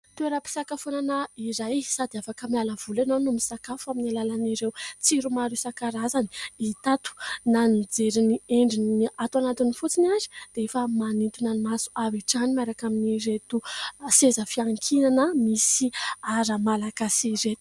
Toeram-pisakafoanana iray sady afaka miala voly ianao no misakafo amin'ny alalan'ireo tsiro maro isan-karazany hita ato, na ny mijery ny endriny ato anatiny fotsiny ary dia efa manitona ny maso avy hatrany miaraka amin'ireto seza fiankinana misy ara-malagasy ireto.